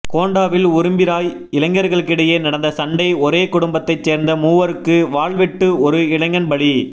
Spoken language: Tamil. கோண்டாவில் உரும்பிராய் இளைஞர்களிடையே நடந்த சண்டை ஒரே குடும்பத்தைச் சேர்ந்த மூவருக்கு வாள்வெட்டுஒரு இளைஞன் பலி